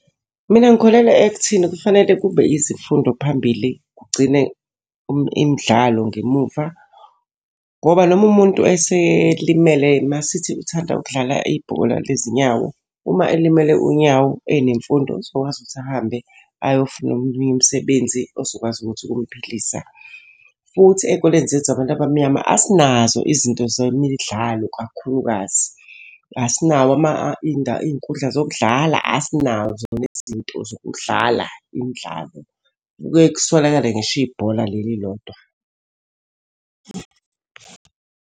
Mina ngikholelwa ekutheni kufanele kube yizifundo phambili kugcine imidlalo ngemuva. Ngoba noma umuntu eselimele uma sithi uthanda ukudlala ibhola lezinyawo. Uma elimele unyawo enemfundo uzokwazi ukuthi ahambe ayofuna omunye umsebenzi ozokwazi ukuthi umphilisa. Futhi ey'koleni zethu zabantu abamnyama asinazo izinto zemidlalo kakhulukazi. Asinawo iy'nkundla zokudlala, asinazo nezinto zokudlala imidlalo. Kuke kuswelakale ngisho ibhola leli lodwa.